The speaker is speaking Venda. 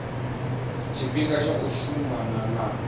tshifhinga tsha u shumana na